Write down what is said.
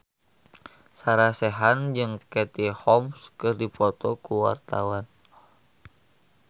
Sarah Sechan jeung Katie Holmes keur dipoto ku wartawan